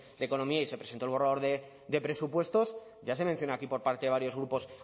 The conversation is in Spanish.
de economía y se presentó el borrador de presupuestos ya se mencionó aquí por parte de varios grupos